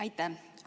Aitäh!